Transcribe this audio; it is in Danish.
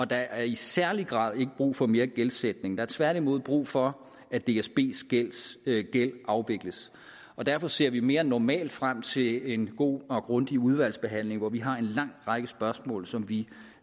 der er i særlig grad ikke brug for mere gældsætning der er tværtimod brug for at dsbs gæld afvikles derfor ser vi mere end normalt frem til en god og grundig udvalgsbehandling hvor vi har en lang række spørgsmål som vi